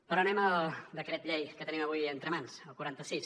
però anem al decret llei que tenim avui entre mans el quaranta sis